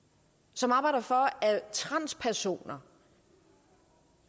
som arbejder for at transpersoner